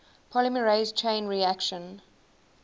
polymerase chain reaction